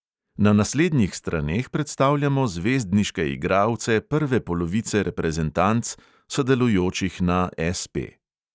Na naslednjih straneh predstavljamo zvezdniške igralce prve polovice reprezentanc, sodelujočih na SP.